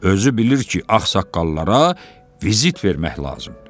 Özü bilir ki, ağsaqqallara vizit vermək lazımdır.